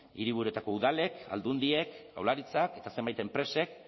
hiriburuetako udalek aldundiek jaurlaritzak eta zenbait enpresek